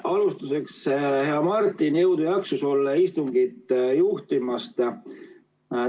Alustuseks, hea Martin, jõudu ja jaksu sulle istungit juhtimast!